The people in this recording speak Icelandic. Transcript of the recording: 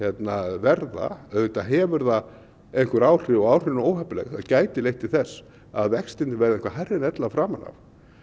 verða auðvitað hefur það einhver áhrif og áhrifin eru óheppileg gæti leitt til þess að vextirnir verða eitthvað hærri en ella framan af